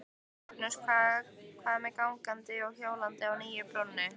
Magnús: Hvað með gangandi og hjólandi á nýju brúnni?